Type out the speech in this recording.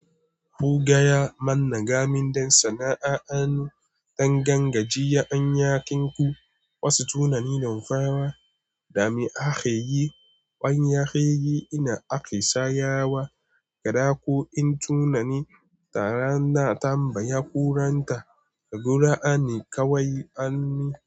Mu gaya mana gaminden sana'a an dan gangajiye anyakinku. Wasu tunani damfawa, dami ake yi, wanya ke yi, ina ake shayarwa, gada ko in tunani taran na tambaya kuranta, ka gura ani kawai ani.